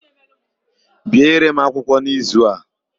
Biere m akwụkwọ a n'izu a!